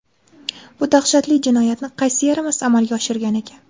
Bu dahshatli jinoyatni qaysi yaramas amalga oshirgan ekan?!